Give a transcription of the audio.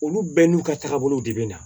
Olu bɛɛ n'u ka taagabolow de bɛ na